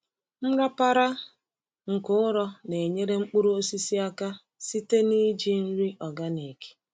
Nrapara nke ụrọ na-enyere mkpuru osisi aka site na iji nri organic.